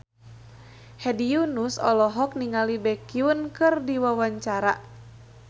Hedi Yunus olohok ningali Baekhyun keur diwawancara